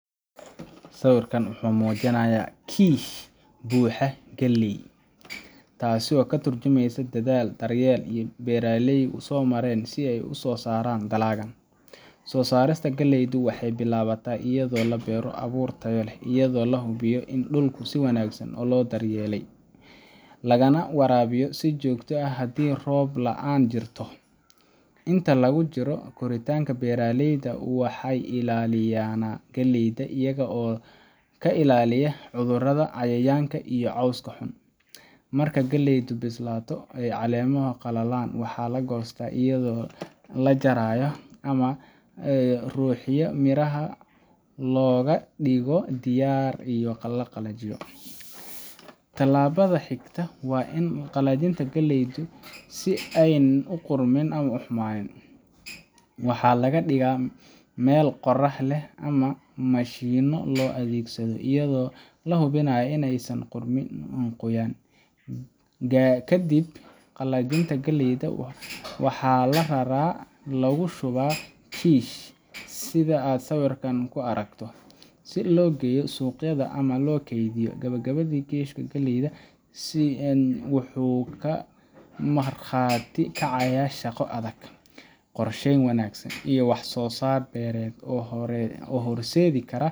Sawirkan wuxuu muujinayaa kiish buuxa oo galley ah, taas oo ka tarjumaysa dadaal dheer oo uu beeraleygu soo maray si uu u soo saaro dalaggan. Soo saarista galleydu waxay bilaabataa iyadoo lagu beero abuur tayo leh, iyadoo la hubinayo in dhulku si wanaagsan loo diyaariyey, lana waraabiyo si joogto ah, haddii roob la’aan jirto. Inta lagu jiro koritaanka, beeraleyda waa in ay ilaaliyaan galleyda iyaga oo ka ilaaliya cudurro, cayayaan, iyo cawska xun. Markay galleydu bislaato oo ay caleemaha qallalaan, waxaa la goostaa iyadoo la jarayo ama la ruxayo si miraha looga dhigo diyaar in la qalajiyo. Tallaabada xigta waa qalajinta galleyda si aanay u qarmoon ama u xumaan. Waxaa la dhigaa meel qorrax leh ama mashiinno loo adeegsado, iyadoo la hubinayo in aysan ku hadhin qoyaan. Kadib qalajinta, galleyda waxaa la raraa oo lagu shubaa kiish sida kan aad sawirka ku aragto, si loo geeyo suuqyada ama loo keydiyo. Gabagabadii, kiishka galleyda ahi wuxuu ka markhaati kacayaa shaqo adag, qorsheyn wanaagsan, iyo wax-soo-saar beereed oo horseedi kara